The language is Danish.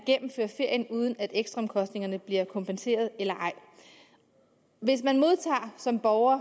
gennemføre ferien uden at ekstraomkostningerne bliver kompenseret hvis man som borger